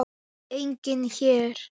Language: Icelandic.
Enginn her.